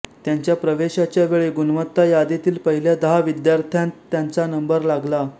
त्यांच्या प्रवेशाच्या वेळी गुणवत्ता यादीतील पहिल्या दहा विद्यार्थ्यांत त्यांचा नंबर लागला